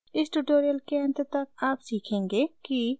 इस ट्यूटोरियल के अंत तक आप सीखेंगे कि